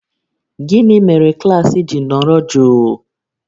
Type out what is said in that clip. Gịnị mere klaasị ji nọrọ jụụ?